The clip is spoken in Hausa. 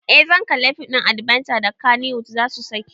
Eh zan kalli fim ɗin adbenture da kannywood zasu saki